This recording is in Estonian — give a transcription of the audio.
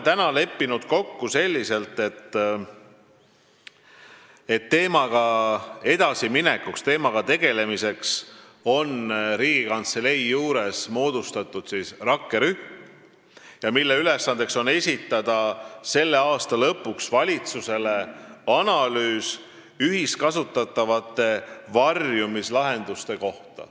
Teemaga edasi minekuks ja sellega tegelemiseks on Riigikantselei juurde moodustatud rakkerühm, mille ülesanne on esitada selle aasta lõpuks valitsusele analüüs ühiskasutatavate varjumislahenduste kohta.